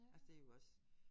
Altså det jo også